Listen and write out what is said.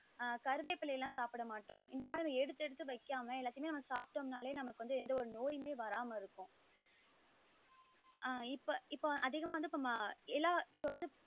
ஆஹ் கறிவேப்பிலைகள் சாப்டமாடோம் இந்த மாறி சில எடுத்து எடுத்து வைக்காம ஏலாத்யுமமே நாம சாப்டோம் நாளே நமக்கு வந்து எந்த ஒரு நோய்மே வராம இருக்கும் ஆஹ் இப்போ இப்போ அதிகமா வந்து வந்து எல்லா